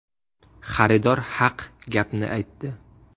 Xaridor haq gapni aytdi.